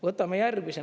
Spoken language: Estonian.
Võtame järgmise.